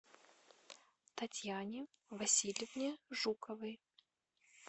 татьяне васильевне жуковой